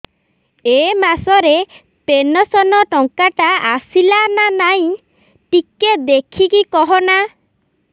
ଏ ମାସ ରେ ପେନସନ ଟଙ୍କା ଟା ଆସଲା ନା ନାଇଁ ଟିକେ ଦେଖିକି କହନା